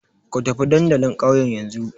Ku tafi dandalin ƙauyen yanzu!